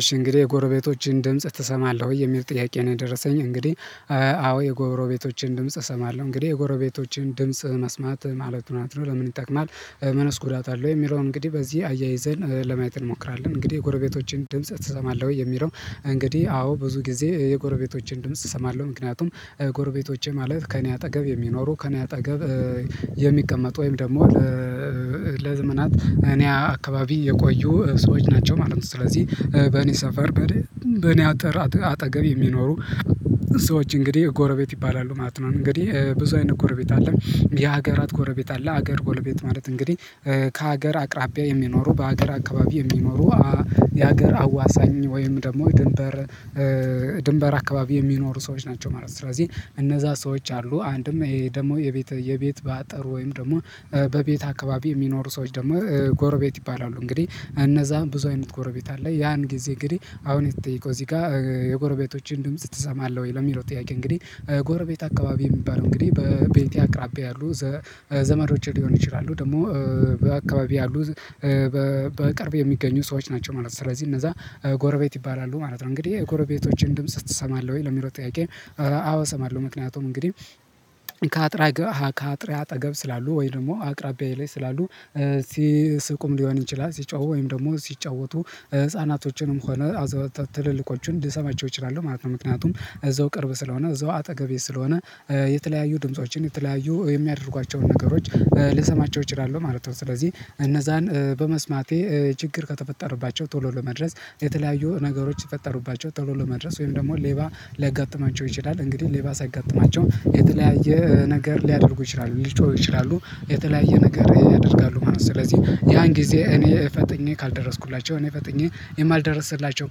እሺ እንግዲህ የጎረቤቶችን ድምጽ ትሰማለህ ወይ የሚል ጥያቄ ነው? የደረሰኝ እንግዲህ አዎ የጎረቤቶችን ድምጽ እሰማለሁ እንግዲህ የጎረቤቶችን ድምጽ መስማት ማለት ናት ነው ለምን ይጠቅማል? ምንስ ጉዳት አለው የሚለውን እንግዲህ በዚህ አያይዘን ለማየት እንሞክራለን። እንግዲህ የጎረቤቶችን ድምጽ ትሰማለህ ወይ የሚለው? እንግዲህ አዎ ብዙ ጊዜ የጎረቤቶቼን ድምጽ እሰማለሁ ምክንያቱም ጎርቤቶቼ ማለት ከእኔ አጠገብ የሚኖሩ ከእኔ አጠገብ የሚቀመጡ ወይም ደግሞ ለዘመናት እኔ አካባቢ የቆዩ ሰዎች ናቸው ማለት ነው። ስለዚህ በእኔ ሰፈር በእኔ አጠር አጠገብ የሚኖሩ ሰዎች እንግዲህ ጎረቤት ይባላሉ ማለት ነው። እንግዲህ ብዙ አይነት ጎረቤት አለ። የሀገራት ጎረቤት አለ ሀገር ጎረቤት ማለት እንግዲህ ከሀገር አቅራቢያ የሚኖሩ በሀገር አካባቢ የሚኖሩ የሀገር አዋሳኝ ወይም ደግሞ የድንበር ድንበር አካባቢ የሚኖሩ ሰዎች ናቸው ማለት ነው። ስለዚህ እነዛ ሰዎች አሉ አንድም ይሄ ደግሞ የቤት የቤት በአጠር ወይም ደግሞ በቤት አካባቢ የሚኖሩ ሰዎች ደግሞ ጎረቤት ይባላሉ። እንግዲህ እነዛ ብዙ አይነት ጎረቤት አለ። ያን ጊዜ እንግዲህ አሁን የተጠየቀው እዚህ ጋር የጎረቤቶችን ድምጽ ትሰማለህ ወይ ለሚለው ጥያቄ? እንግዲህ ጎረቤት አካባቢ የሚባለው እንግዲህ በቤቴ አቅራቢያ ያሉ ዘመዶቼ ሊሆን ይችላሉ ደግሞ በአካባቢያ ያሉ በቅርብ የሚገኙ ሰዎች ናቸው ማለት ነው። ስለዚህ እነዛ ጎረቤት ይባላሉ ማለት ነው። እንግዲህ የጎረቤቶችን ድምጽ ትሰማለህ ወይ ነው የሚለው ጥያቄ? አዎ እሰማለሁ ምክንያቱም እንግዲህ ከአጥር ጋር ከአጥሬ አጠገብ ስላሉ ወይ ደግሞ አቅራቢያዬ ላይ ስላሉ ሲስቁም ሊሆን ይችላል ሲጮሁ ወይም ደግሞ ሲጫወቱ ህፃናቶችንም ሆነ ትልልቆቹን ልሰማቸው እችላለሁ ማለት ነው ምክንያቱም እዛው ቅርብ ስለሆነ እዛው አጠገቤ ስለሆነ የተለያዩ ድምፆችን የተለያዩ የሚያደርጓቸውን ነገሮች ልሰማቸው እችላለሁ ማለት ነው። ስለዚህ እነዛን በመስማቴ ችግር ከተፈጠረባቸው ቶሎ ለመድረስ የተለያዩ ነገሮች ሲፈጠሩባቸው ቶሎ ለመድረስ ወይም ደግሞ ሌባ ሊያጋጥማቸው ይችላል እንግዲህ ሌባ ሲያጋጥማቸው የተለያየ ነገር ሊያደርጉ ይችላሉ ሊጮህ ይችላሉ የተለያየ ነገር ያደርጋሉ ማለት ነው። ስለዚህ ያን ጊዜ እኔ ፈጥኜ ካልደረስኩላቸው እኔ ፈጥኜ የማልደርስላቸው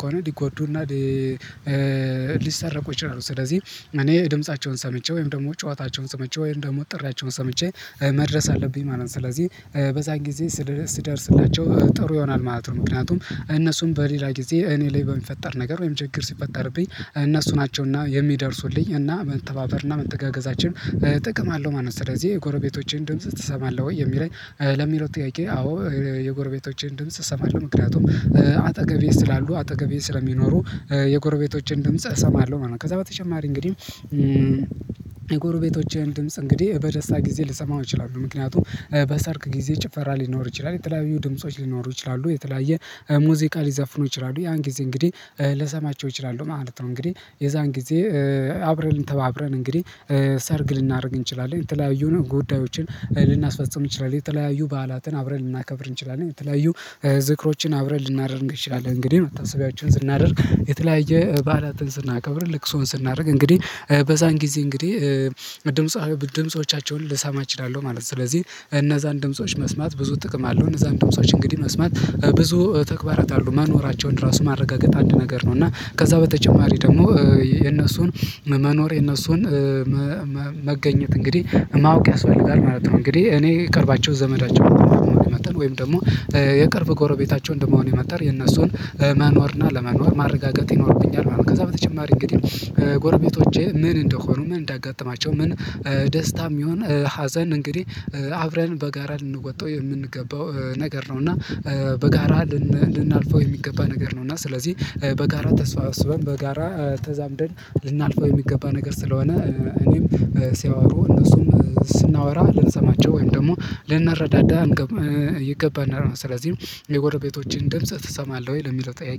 ከሆነ ሊጎዱና ሊሰረቁ ይችላሉ። ስለዚህ እኔ ድምፃቸውን ሰምቼ ወይም ደግሞ ጨዋታቸውን ሰምቼ ወይም ደግሞ ጥሪያቸውን ሰምቼ መድረስ አለብኝ ማለት ነው። ስለዚህ በዛን ጊዜ ስደርስላቸው ጥሩ ይሆናል ማለት ነው። ምክንያቱም እነሱም በሌላ ጊዜ እኔ ላይ በሚፈጠር ነገር ወይም ችግር ሲፈጠርብኝ እነሱ ናቸውና የሚደርሱልኝ እና መተባበርና መንተጋገዛችን ጥቅም አለው ማለት ነው። ስለዚህ የጎረቤቶቼን ድምጽ ትሰማለህ ወይ የሚለኝ ለሚለው ጥያቄ? አዎ የጎርቤቶቼን ድምጽ እሰማለው ምክንያቱም አጠገቤ ስላሉ አጠገቤ ስለሚኖሩ የጎረቤቶቼን ድምጽ እሰማለሁ ማለት ነው። ከዛ በተጨማሪ እንግዲህ የጎረቤቶችን ድምጽ እንግዲህ በደስታ ጊዜ ልሰማው እችላለሁ ምክንያቱም በሰርክ ጊዜ ጭፈራ ሊኖር ይችላል የተለያዩ ድምጾች ሊኖሩ ይችላሉ የተለያየ ሙዚቃ ሊዘፍኑ ይችላሉ ያን ጊዜ እንግዲህ ልሰማቸው እችላለሁ ማለት ነው። እንግዲህ የዛን ጊዜ አብረን ተባብረን እንግዲህ ሰርግ ልናደርግ እንችላለን የተለያዩ ነው ጉዳዮችን ልናስፈጽም ይችላል የተለያዩ በዓላትን አብረን ልናከብር እንችላለን የተለያዩ ዝክሮችን አብረን ልናደርግ እንችላለን እንግዲህ መታሰቢያዎችን ስናደርግ የተለያየ በዓላትን ስናከብር ልቅሶን ስናደርግ እንግዲህ በዛን ጊዜ እንግዲህ ድምጾቻቸውን ልሰማ እችላለሁ ማለት ነው። ስለዚህ እነዛን ድምጾች መስማት ብዙ ጥቅም አለው እነዛን ድምጾች እንግዲህ መስማት ብዙ ተግባራት አሉ መኖራቸውን ራሱ ማረጋገጥ አንድ ነገር ነው እና ከዛ በተጨማሪ ደግሞ የነሱን መኖር የነሱን መገኘት እንግዲህ ማወቅ ያስፈልጋል ማለት ነው። እንግዲህ እኔ ቅርባቸው ዘመዳቸው እንደመሆኔ መጠን ወይም ደግሞ የቅርብ ጎረቤታቸውን እንደመሆኔ መጠን የነሱን መኖርና አለመኖር ማረጋገጥ ይኖርብኛል። ከዛ በተጨማሪ እንግዲህ ጎረቤቶቼ ምን እንደሆኑ ምን እንዳጋጥማቸው ምን ደስታም ይሁን ሀዘን እንግዲህ አብረን በጋራ ልንወጣው የምንገባው ነገር ነው። እና በጋራ ልናልፈው የሚገባ ነገር ነው። እና ስለዚህ በጋራ ተሰባስበን በጋራ ተዛምደን ልናልፈው የሚገባ ነገር ስለሆነ እኔም ሲያወሩ እነሱም ስናወራ ልንሰማቸው ወይም ደግሞ ልናረዳዳ ይገባናል። ስለዚህ የጎረቤቶችን ድምጽ ትሰማለህ ወይ ለሚለው ጥያቄ?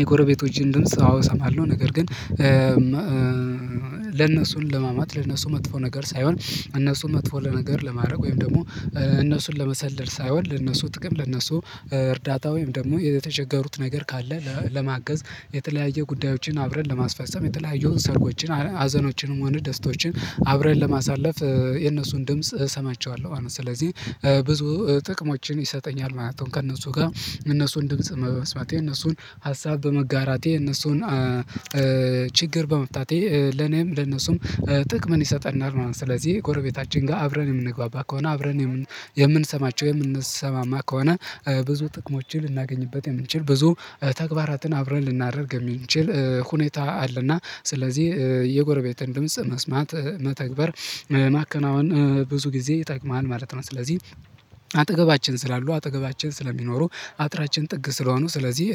የጎረቤቶችን ድምጽ አዎ እሰማለሁ ነገር ግን ለነሱን ለማማት ለነሱ መጥፎ ነገር ሳይሆን እነሱን መጥፎ ለነገር ለማድረግ ወይም ደግሞ እነሱን ለመሰለል ሳይሆን ለእነሱ ጥቅም ለእነሱ እርዳታ ወይም ደግሞ የተቸገሩት ነገር ካለ ለማገዝ የተለያየ ጉዳዮችን አብረን ለማስፈሰም የተለያየውን ሰርጎችን ሀዘኖችንም ሆነ ደስታዎችን አብረን ለማሳለፍ የነሱን ድምጽ እሰማቸዋለሁ ማለት ነው ስለዚህ ብዙ ጥቅሞችን ይሰጠኛል ማለት ነው። ከእነሱ ጋር እነሱን ድምጽ መመስማቴ እነሱን ሀሳብ በመጋራቴ እነሱን ችግር በመፍታቴ ለኔም ለነሱም ጥቅም ይሰጠናል። ማለት ስለዚህ ጎረቤታችን ጋር አብረን የምንግባባ ከሆነ አብረን የምንሰማቸው የምንሰማማ ከሆነ ብዙ ጥቅሞችን ልናገኝበት የምንችል ብዙ ተግባራትን አብረን ልናደርግ የምንችል ሁኔታ አለና ስለዚህ የጎረቤትን ድምጽ መስማት መተግበር ማከናወን ብዙ ጊዜ ይጠቅማል ማለት ነው። ስለዚህ አጠገባችን ስላሉ አጠገባችን ስለሚኖሩ አጥራችን ጥግ ስለሆኑ ስለዚህ